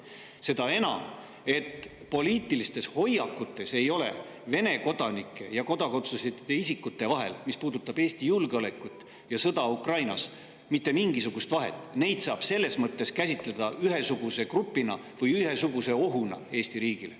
Seda enam, et Vene kodanike ja kodakondsuseta isikute poliitilistel hoiakutel, mis puudutavad Eesti julgeolekut ja sõda Ukrainas, ei ole mitte mingisugust vahet, neid saab selles mõttes käsitleda ühesuguse grupina või ühesuguse ohuna Eesti riigile.